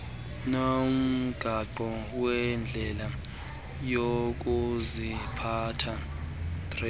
nomgaqo wendlela yokuziphatha